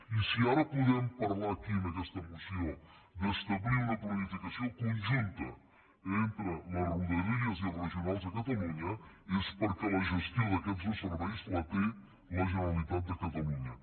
i si ara podem parlar aquí en aquesta moció d’establir una planificació conjunta entre les rodalies i els regionals de catalunya és perquè la gestió d’aquests serveis la té la generalitat de catalunya